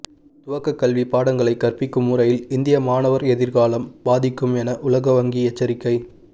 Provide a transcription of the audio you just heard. துவக்க கல்வி பாடங்களை கற்பிக்கும் முறையில் இந்தியா மாணவர் எதிர்காலம் பாதிக்கும் என உலகவங்கி எச்சரிக்கை